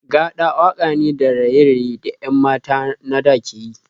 Gaɗa waka ne da raye-raye da 'yan mata na da ke yi.